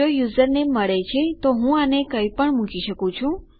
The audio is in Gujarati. જો યુઝરનેમ મળે છે તો હું આને કંઈપણ મૂકી શકું છું